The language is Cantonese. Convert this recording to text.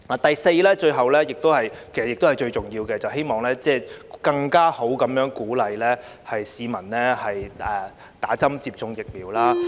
第四，是最後亦是最重要的一點，便是我希望政府能更好地鼓勵市民接種疫苗。